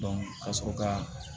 ka sɔrɔ ka